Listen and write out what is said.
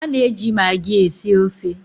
A na-eji maagi esi ofe.